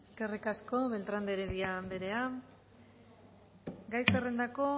eskerrik asko beltrán de heredia anderea gai zerrendako